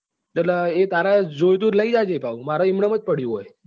એટલે એ તારે જોયતું હોય તો લઈ જજે પાછુ મારે એમ્ન્મ જ પડ્યું હોય છે અહી